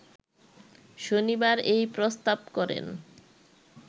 শনিবার এই প্রস্তাব করেন